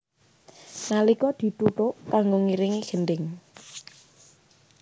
Nalika dituthuk kanggo ngiringi gendhing